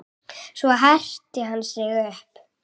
Svo herti hann sig upp.